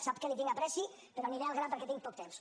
sap que li tinc apreci però aniré al gra perquè tinc poc temps